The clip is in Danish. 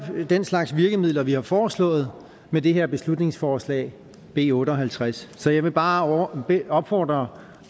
den slags virkemidler vi har foreslået med det her beslutningsforslag b otte og halvtreds så jeg vil bare opfordre